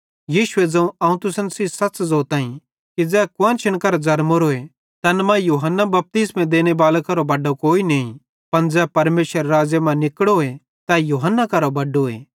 यीशुए ज़ोवं अवं तुसन सेइं सच़ ज़ोताईं कि ज़ै कुआन्शन करां ज़रमोरोए तैन मां यूहन्ना बपतिस्मो देनेबाले करां बड्डो कोई नईं पन ज़ै परमेशरेरे राज़्ज़े मां निकड़ोए ते तै यूहन्ना करां बड्डोए